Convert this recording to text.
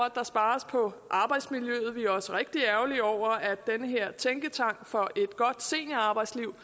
at der spares på arbejdsmiljøet vi er også rigtig ærgerlige over at den her tænketank for et godt seniorarbejdsliv